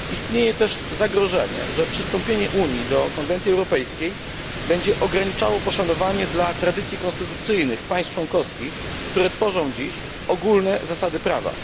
Istnieje też zagrożenie, że przystąpienie Unii do konwencji europejskiej będzie ograniczało poszanowanie dla tradycji konstytucyjnych państw członkowskich, które tworzą dziś ogólne zasady prawa.